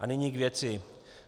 A nyní k věci.